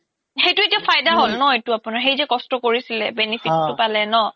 সেইতোয়ে তো ফাইদা হ্'ল ন আপোনাৰ সেই যে কস্ত কোৰিছিলে benefit তো পালে ন